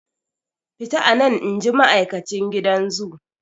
Fita anan!inji ma'aikacin gidan zoo.